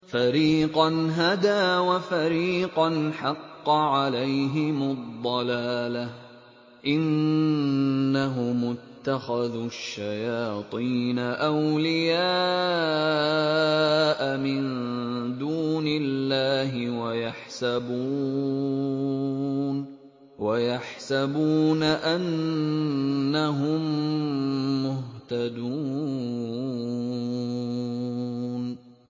فَرِيقًا هَدَىٰ وَفَرِيقًا حَقَّ عَلَيْهِمُ الضَّلَالَةُ ۗ إِنَّهُمُ اتَّخَذُوا الشَّيَاطِينَ أَوْلِيَاءَ مِن دُونِ اللَّهِ وَيَحْسَبُونَ أَنَّهُم مُّهْتَدُونَ